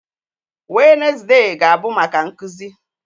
Wednezde ga-abụ maka nkụzi